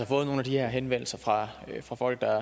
fået nogle af de her henvendelser fra fra folk der